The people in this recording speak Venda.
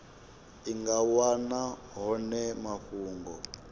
i nga wana hone mafhungo